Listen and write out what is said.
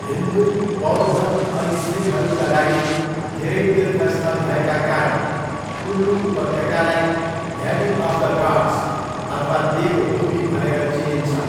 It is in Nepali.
हिन्दू, बौद्ध अनि सिखहरूका लागि धेरै तीर्थस्थल भएका कारण कुल्लू उपत्यकालाई 'भ्याली अफ द गॉड्स' अथवा 'देव भूमि' भनेर चिनिन्छ।